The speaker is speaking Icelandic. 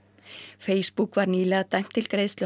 Facebook var nýlega dæmt til greiðslu